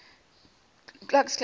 ku klux klan